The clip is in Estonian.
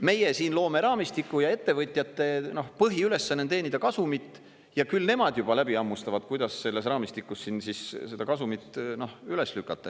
Meie siin loome raamistiku ja ettevõtjate põhiülesanne on teenida kasumit ja küll nemad juba läbi hammustavad, kuidas selles raamistikus siin siis seda kasumit üles lükata.